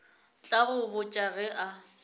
tla go botša ge a